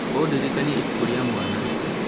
ũndirikanie ibuku rĩa mwana